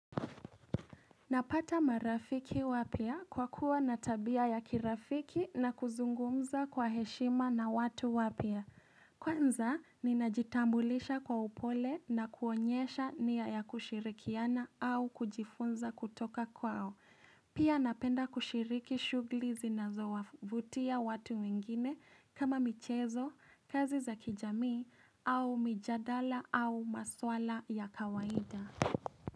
Napata marafiki wapya kwa kuwa na tabia ya kirafiki na kuzungumza kwa heshima na watu wapya. Kwanza, ninajitambulisha kwa upole na kuonyesha nia ya kushirikiana au kujifunza kutoka kwao. Pia napenda kushiriki shughuli zinazowavutia watu wengine kama michezo, kazi za kijamii au mijadala au maswala ya kawaida.